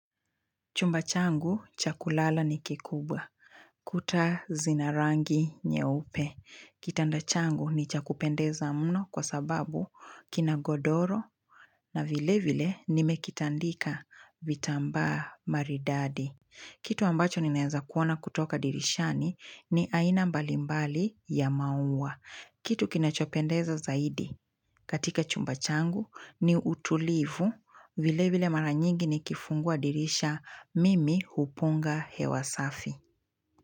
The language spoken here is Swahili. Chumba changu, chakulala ni kikubwa. Kuta zinarangi nyeupe. Kitanda changu ni chakupendeza muno kwa sababu kina godoro na vile vile nimekitandika vitamba maridadi. Kitu ambacho ninaeza kuona kutoka dirishani ni aina mbalimbali ya maua. Kitu kinachopendeza zaidi katika chumba changu ni utulivu vile vile mara nyingi ni kifungua dirisha Mimi Hupunga hewasafi.